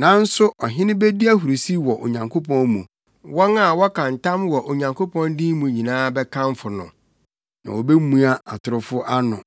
Nanso ɔhene bedi ahurusi wɔ Onyankopɔn mu; wɔn a wɔka ntam wɔ Onyankopɔn din mu nyinaa bɛkamfo no, na wobemua atorofo ano.